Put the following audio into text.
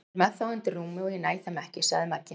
Hann er með þá undir rúmi og ég næ þeim ekki sagði Magga.